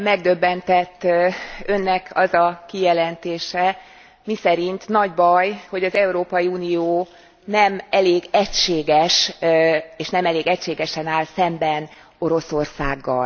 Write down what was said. Mélyen megdöbbentett Önnek az a kijelentése, miszerint nagy baj, hogy az Európai Unió nem elég egységes és nem elég egységesen áll szemben Oroszországgal.